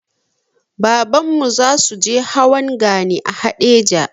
Babanmu zasuje hawan gani a haɗeja